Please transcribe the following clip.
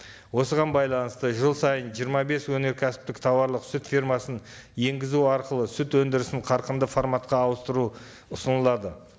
осыған байланысты жыл сайын жиырма бес өнеркәсіптік тауарлық сүт фермасын енгізу арқылы сүт өндірісін қарқынды форматқа ауыстыру ұсынылады